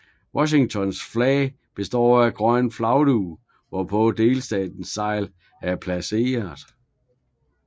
Washingtons flag består af en grøn flagdug hvorpå delstatens segl er placeret